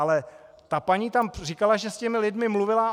Ale ta paní tam říkala, že s těmi lidmi mluvila.